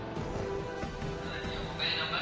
Saranya mobile number